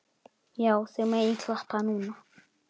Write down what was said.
Já, þið megið klappa núna.